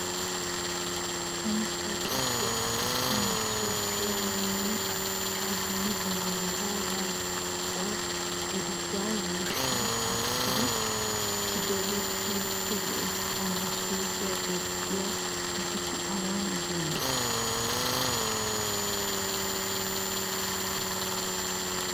Samppaa daddiya asati masoopiyanne a tuchchaa dumma dumma meraa warqqiwalla irzuwan yuushshi aattidi sikkidoogee keehippe lo'es. Ha masoopiya medhdhiya asati awan diyonaa?